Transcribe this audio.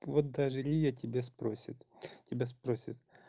вот даже лия тебя спросит тебя спросит